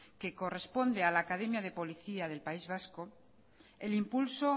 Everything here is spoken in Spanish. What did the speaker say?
corresponde a la academia de policía del país vasco el impulso